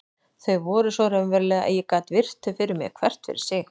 Þau voru svo raunveruleg að ég gat virt þau fyrir mér hvert fyrir sig.